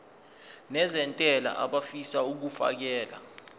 nezentela abafisa uukfakela